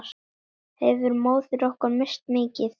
Hefur móðir okkar misst mikið.